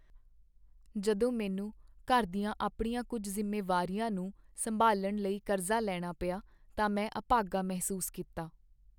ਜਦੋਂ ਮੈਨੂੰ ਘਰ ਦੀਆਂ ਆਪਣੀਆਂ ਕੁੱਝ ਜ਼ਿੰਮੇਵਾਰੀਆਂ ਨੂੰ ਸੰਭਾਲਣ ਲਈ ਕਰਜ਼ਾ ਲੈਣਾ ਪਿਆ ਤਾਂ ਮੈਂ ਆਭਾਗਾ ਮਹਿਸੂਸ ਕੀਤਾ।